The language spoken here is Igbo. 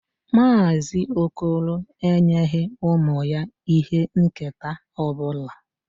Mazị okoro enyeghị ụmụ ya ihe nketa ọ bụla.